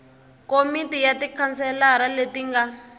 komiti ya tikhanselara leti nga